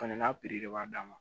Fɛnɛ n'a de b'a dan ma